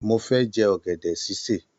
Mo fẹ jẹ ọgẹdẹ ṣiṣe.